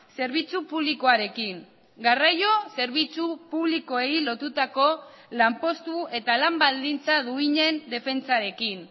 zerbitzu publikoarekin garraio zerbitzu publikoei lotutako lanpostu eta lan baldintza duinen defentsarekin